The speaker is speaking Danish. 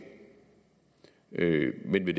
men det